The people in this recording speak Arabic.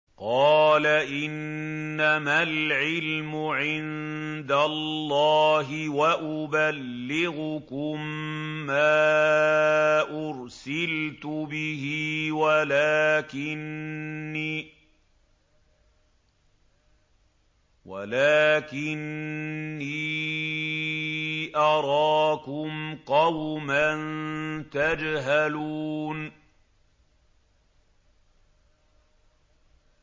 قَالَ إِنَّمَا الْعِلْمُ عِندَ اللَّهِ وَأُبَلِّغُكُم مَّا أُرْسِلْتُ بِهِ وَلَٰكِنِّي أَرَاكُمْ قَوْمًا تَجْهَلُونَ